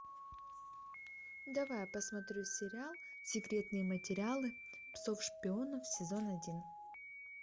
давай я посмотрю сериал секретные материалы псов шпионов сезон один